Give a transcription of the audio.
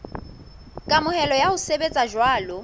kamohelo ya ho sebetsa jwalo